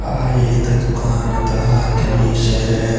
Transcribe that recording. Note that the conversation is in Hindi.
अह एक दुकान ता दृश्य है।